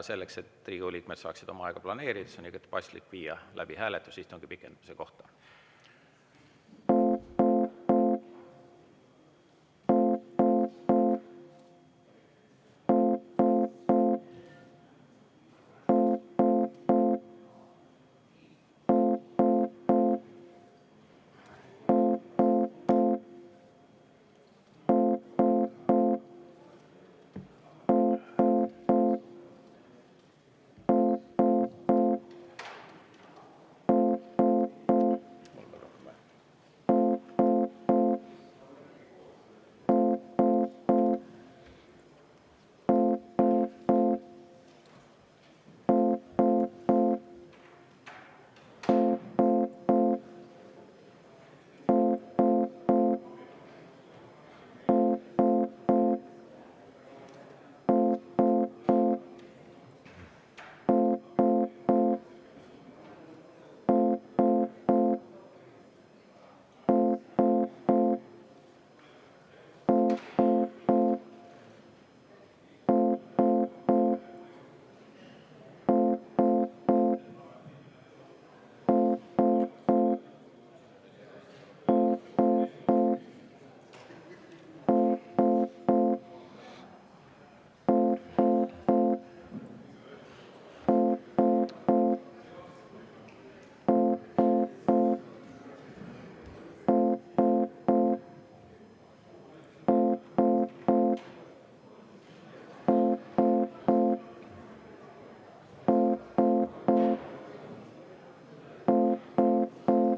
Selleks, et Riigikogu liikmed saaksid oma aega planeerida, on igati paslik viia läbi istungi pikendamise hääletus.